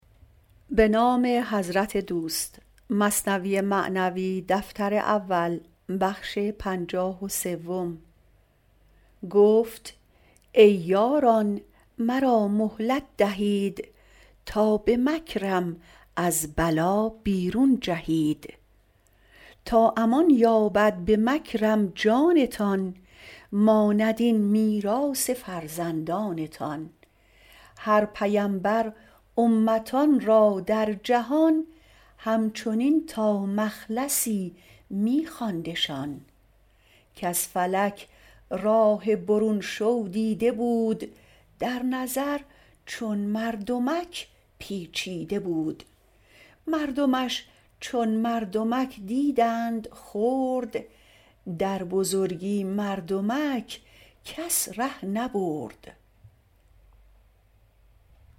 گفت ای یاران مرا مهلت دهید تا به مکرم از بلا بیرون جهید تا امان یابد به مکرم جانتان ماند این میراث فرزندانتان هر پیمبر امتان را در جهان همچنین تا مخلصی می خواندشان کز فلک راه برون شو دیده بود در نظر چون مردمک پیچیده بود مردمش چون مردمک دیدند خرد در بزرگی مردمک کس ره نبرد